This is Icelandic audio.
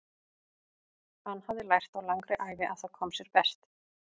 Hann hafði lært á langri ævi að það kom sér best.